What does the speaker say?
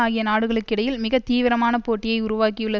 ஆகிய நாடுகளுக்கிடையில் மிக தீவிரமான போட்டியை உருவாக்கியுள்ள